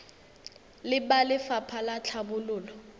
le ba lefapha la tlhabololo